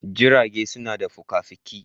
Jirage suna da fuka-fuki